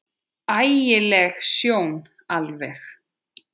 Ægi leg sjón alveg.